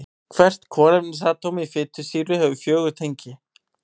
Hvert kolefnisatóm í fitusýru hefur fjögur tengi.